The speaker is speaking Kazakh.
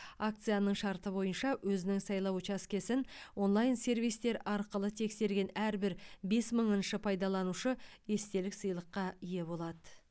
акцияның шарты бойынша өзінің сайлау учаскесін онлайн сервистер арқылы тексерген әрбір бес мыңыншы пайдаланушы естелік сыйлыққа ие болады